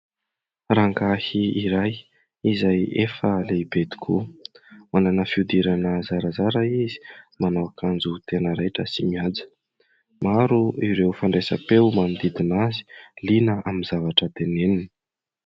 Rangahy iray izay efa lehibe tokoa manana fihodirana zarazara izy manao akanjo tena raitra sy mihaja. Maro ireo fandraisam-peo manodidina azy liana amin'ny zavatra teneniny.